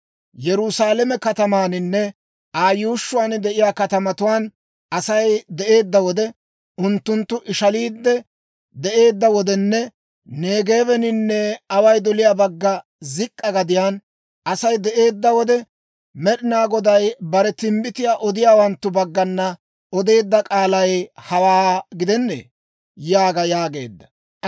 Yerusaalame katamaaninne Aa yuushshuwaan de'iyaa katamatuwaan Asay de'eedda wode, unttunttu ishaliide de'eedda wodenne Neegeebeninne away doliyaa bagga zik'k'a gadiyaan Asay de'eedda wode, Med'inaa Goday bare timbbitiyaa odiyaawanttu baggana odeedda k'aalay hawaa gidennee?› yaaga» yaageedda.